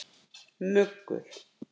Muggur